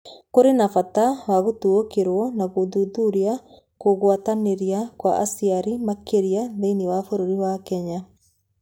Kũrĩ na bata wa gũtaũkĩrũo na gũthuthuria kũgwatanĩra kwa aciari makĩria thĩinĩ wa bũrũri wa Kenya.